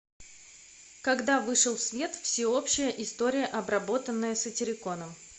когда вышел в свет всеобщая история обработанная сатириконом